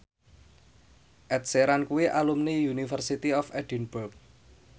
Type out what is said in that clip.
Ed Sheeran kuwi alumni University of Edinburgh